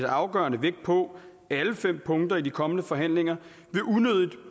afgørende vægt på alle fem punkter i de kommende forhandlinger